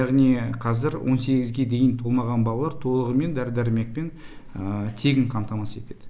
яғни қазір он сегізге дейін толмаған балалар толығымен дәрі дәрмекпен тегін қамтамасыз етіледі